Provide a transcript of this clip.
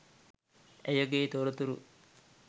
ඇයගේ තොරතුරු